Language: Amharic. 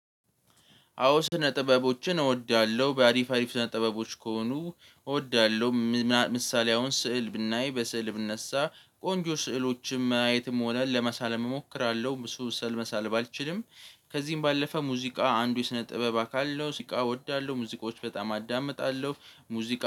አዎ ስነ ጥበቦችን እወዳለሁ በአሪፍ አሪፍ ስነ ጥበቦች ከሆኑ እወዳለሁ። ምሳሌ አሁን ስዕል ብናይ በስዕል ብነሳ ቆንጆ ስዕሎችም ማየትም ሆነ ለመሳልም እሞክራለሁ። ብዙ ስዕል መሳል ባልችልም ከዚህም ባለፈ ሙዚቃ አንዱ የስነ ጥበብ አካል ነው። ሙዚቃ እወዳለሁ ሙዚቃዎች በጣም አዳምጣለሁ ሙዚቃ